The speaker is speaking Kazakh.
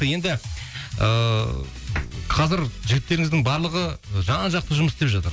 енді ыыы қазір жігіттеріңіздің барлығы жан жақты жұмыс істеп жатыр